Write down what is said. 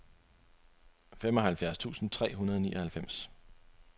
femoghalvfjerds tusind tre hundrede og nioghalvfems